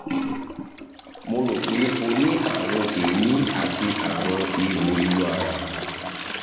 mo rò pé ó ní àrùn èémí àti àrùn ìhò inú ara